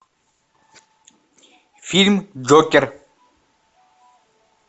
фильм джокер